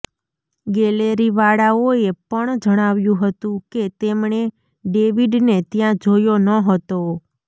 ગેલેરીવાળાઓએ પણ જણાવ્યું હતું કે તેમણે ડેવિડને ત્યાં જોયો ન હતો